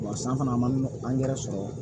san fana a ma nɔgɔ angɛrɛ sɔrɔ